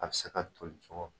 A bɛ se ka toli cogo min